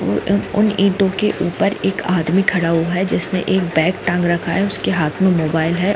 और इन्हेेंटों के ऊपर एक आदमी खड़ा हुआ है जिसमें ब्लैक टांग रखा है उसके हाथ में मोबाईल है।